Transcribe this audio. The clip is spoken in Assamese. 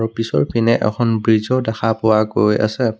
পিছৰ পিনে এখন ব্ৰিজও দেখা পোৱা গৈ আছে।